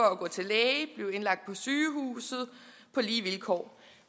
at gå til læge blive indlagt på sygehus på lige vilkår